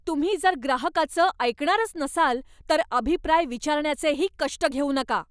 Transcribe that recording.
तुम्ही जर ग्राहकाचं ऐकणारच नसाल तर अभिप्राय विचारण्याचेही कष्ट घेऊ नका.